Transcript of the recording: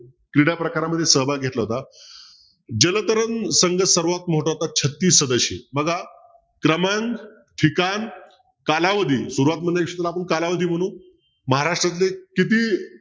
क्रीडाप्रकारामध्ये सहभाग घेतला होता जलतरण संघ सर्वात मोठा होता छत्तीस बघा क्रमांक ठिकाण कालावधी सुरवातमध्ये आपण कालावधी म्हणू महाराष्ट्रातले किती